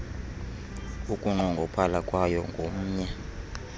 ukunqongophala kwayo ngomnye